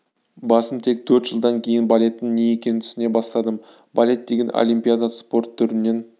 басым тек төрт жылдан кейін балеттің не екенін түсіне бастадым балет деген олимпиада спорт түрінен